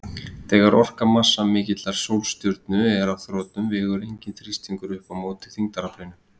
Þegar orka massamikillar sólstjörnu er á þrotum vegur enginn þrýstingur upp á móti þyngdaraflinu.